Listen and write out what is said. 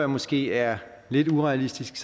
måske er lidt urealistisk